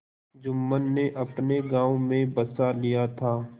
जुम्मन ने अपने गाँव में बसा लिया था